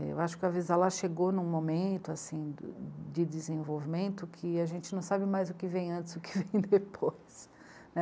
Eu acho que o Avisalá chegou em um momento, assim, de desenvolvimento que a gente não sabe mais o que vem antes, o que vem depois, né.